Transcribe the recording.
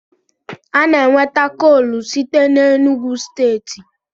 A na-enweta koolu site n'Enugwu steeti.